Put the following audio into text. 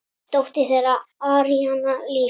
Dóttir þeirra: Aríanna Líf.